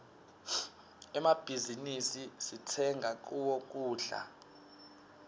emmabhizinisi sitsenga kuwo kudla